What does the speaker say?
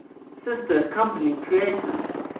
sister company creative